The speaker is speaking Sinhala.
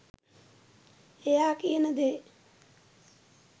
එයා කියන දේ